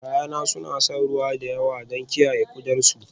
Ya'yana suna shan ruwa da yawa don kiyaye kodarsu